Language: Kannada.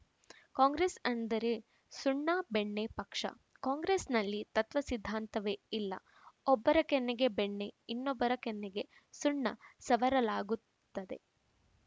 ಕಾಂಗ್ರೆಸ್‌ ಅಂದ್ರೆ ಸುಣ್ಣಬೆಣ್ಣೆ ಪಕ್ಷ ಕಾಂಗ್ರೆಸ್‌ನಲ್ಲಿ ತತ್ವ ಸಿದ್ಧಾಂತವೇ ಇಲ್ಲ ಒಬ್ಬರ ಕೆನ್ನೆಗೆ ಬೆಣ್ಣೆಇನ್ನೊಬ್ಬರ ಕಣ್ಣಿಗೆ ಸುಣ್ಣ ಸವರಲಾಗುತ್ತದೆ